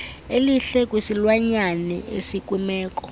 elihle kwisilwanyane esikwimeko